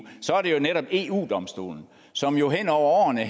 jo netop er eu domstolen som jo hen over årene